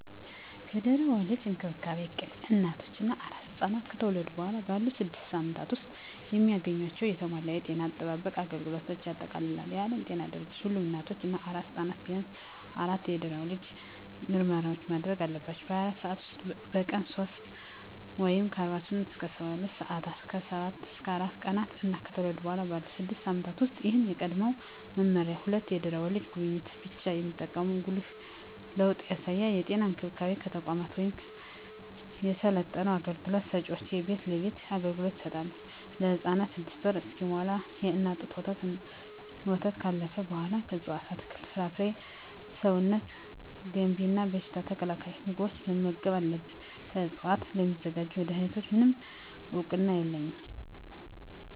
የድህረ ወሊድ እንክብካቤ እቅድ እናቶች እና አራስ ሕፃናት ከተወለዱ በኋላ ባሉት ስድስት ሳምንታት ውስጥ የሚያገኟቸውን የተሟላ የጤና አጠባበቅ አገልግሎቶችን ያጠቃልላል። የዓለም ጤና ድርጅት ሁሉም እናቶች እና አራስ ሕፃናት ቢያንስ አራት የድህረ ወሊድ ምርመራዎችን ማድረግ አለባቸው - በ24 ሰዓት ውስጥ፣ በቀን 3 (48-72 ሰአታት)፣ ከ7-14 ቀናት እና ከተወለዱ በኋላ ባሉት 6 ሳምንታት ውስጥ። ይህ ከቀድሞው መመሪያ ሁለት የድህረ ወሊድ ጉብኝቶችን ብቻ የሚጠቁም ጉልህ ለውጥ ያሳያል። የጤና እንክብካቤ ተቋማት ወይም የሰለጠኑ አገልግሎት ሰጭዎች የቤት ለቤት አገልግሎት ይሰጣሉ። ለህፃኑም 6ወር እስኪሞላው የእናት ጡት ወተትና ካለፈው በኃላ ከእፅዋት አትክልት፣ ፍራፍሬ ሰውነት ገንቢ እና በሽታ ተከላካይ ምግቦችን መመገብ አለብን። ከዕፅዋት ስለሚዘጋጁ መድኃኒቶች፣ ምንም እውቅና የለኝም።